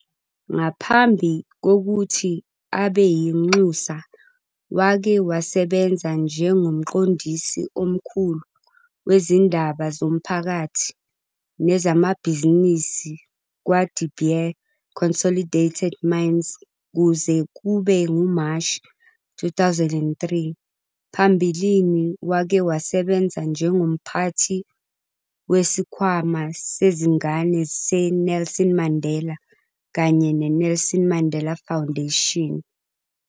Ngaphambi kokuthi abe yinxusa wake wasebenza njengomqondisi omkhulu wezindaba zomphakathi nezamabhizinisi kwaDe Beer Consolidated Mines kuze kube nguMashi 2003. Phambilini wake wasebenza njengomphathi weSikhwama Sezingane seNelson Mandela kanye neNelson Mandela Foundation.